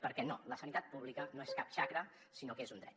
perquè no la sanitat pública no és cap xacra sinó que és un dret